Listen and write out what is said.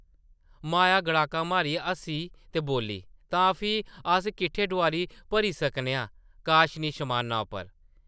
माया गड़ाका मारियै हस्सी ते बोल्ली, ‘‘तां फ्ही अस किट्ठे डोआरी भरी सकने आं काशनी शमाना उप्पर ।’’